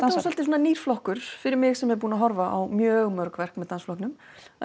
svolítið svona nýr flokkur fyrir mig sem er búin að horfa á mjög mörg verk með dansflokknum